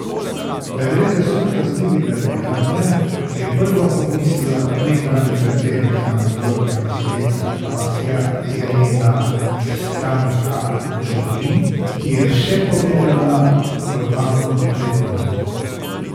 Da gre za sum kaznivega dejanja, je prva pomislila nekdanja predsednica nadzornega sveta Klasja Irena Stanka Čurin, ki je vse povedala organom pregona.